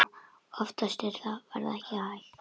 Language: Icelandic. Oftast var það ekki hægt.